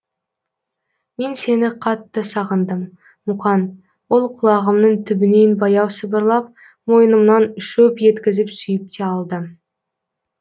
мен сені қатты сағындым муқан ол құлағымның түбінен баяу сыбырлап мойнымнан шөп еткізіп сүйіп те алды